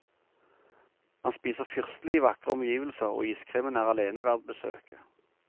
Man spiser fyrstelig i vakre omgivelser, og iskremen er alene verd besøket.